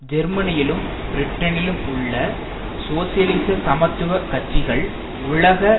ஜெர்மனியிலும் பிரிட்டனிலும் உள்ள சோசியலிச சமத்துவ கட்சிகள் உலக